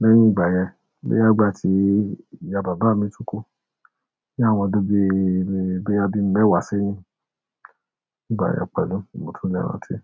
Lẹ́yìn ìgbà yẹn, boya ìgbà tí ìyá bàbá mi tún kú, bí àwọn ọdún bí, boya bí mẹ́wàá seyín. Ìgbà yẹn pẹ̀lú, mo tún lé rántí.